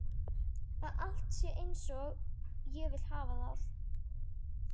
Að allt sé einsog ég vil hafa það.